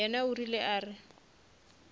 yena o rile a re